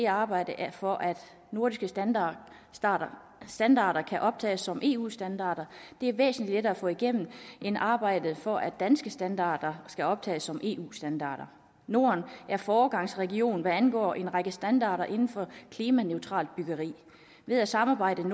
arbejdet for at nordiske standarder standarder kan optages som eu standarder er væsentlig lettere at få igennem end arbejdet for at danske standarder skal optages som eu standarder norden er foregangsregion hvad angår en række standarder inden for klimaneutralt byggeri ved at samarbejde på